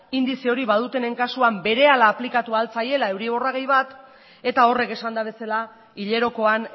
indize hori badutenen kasuan berehala aplikatu ahal zaiela euriborra gehi bat eta horrek esanda bezala hilerokoan